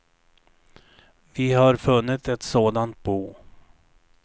Vi har funnit ett sådant bo.